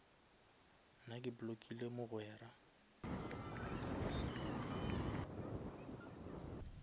nna ke blockile mogwera